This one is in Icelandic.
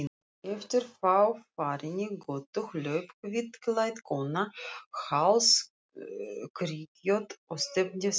Eftir fáfarinni götu hljóp hvítklædd kona hálfskrykkjótt og stefndi þangað.